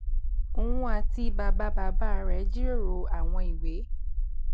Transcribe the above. òun àti bàbá bàbá rè jíròrò àwọn ìwé